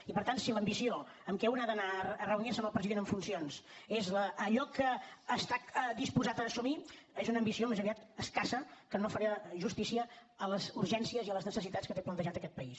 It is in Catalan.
i per tant si l’ambició amb què un ha d’anar a reunirse amb el president en funcions és allò que està disposat a assumir és una ambició més aviat escassa que no faria justícia a les urgències i a les necessitats que té plantejades aquest país